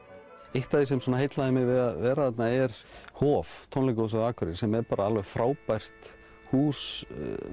eitt af því sem heillaði mig við að vera þarna er Hof tónlistarhús á Akureyri sem er alveg frábært hús